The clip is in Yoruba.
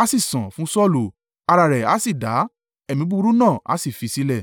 a sì san fún Saulu, ara rẹ̀ a sì dá; ẹ̀mí búburú náà a sì fi sílẹ̀.